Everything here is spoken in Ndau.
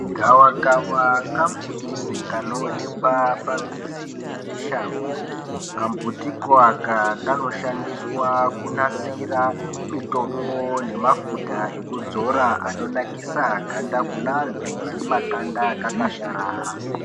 Gawakawa kambuti kanoonekwa pamizi nemushango. Kambutiko aka kanoshandiswa kunasira mitombo nemafuta ekudzora anonakisa ganda kune antu ane makanda akakasharara.